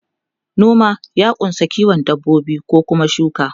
noma ya kunsa kiwon dabbobi ko Kuma shuka